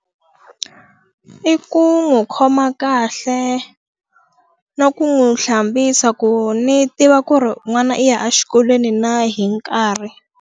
I ku n'wi khoma kahle na ku n'wi hlambisa ku ndzi tiva ku ri n'wana i ya exikolweni na hi nkarhi.